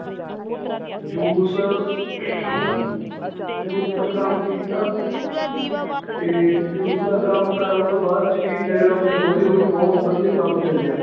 juice juice ਦਾ ਕੰਮ ਕੀਤਾ ਤੇ juice ਦਾ ਕੰਮ ਕਰਨ ਤੋਂ ਬਾਅਦ ਚ ਜੀ ਮੇਰਾ ਉੱਥੇ ਹੌਲੀ ਹੌਲੀ ਬਹੁਤ ਵਧੀਆ ਕੰਮ ਚੱਲਿਆ